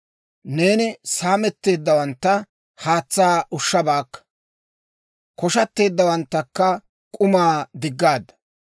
Neeni saametteeddawantta haatsaa ushshabaakka; koshatteeddawanttakka k'umaa diggaadda.